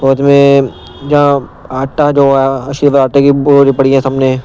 और उसमें जहा आटा जो है की पड़ी है सबने।